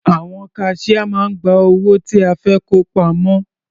Àwọn kaṣíá máa ń gba owó tí a fẹ́ kó pamọ́.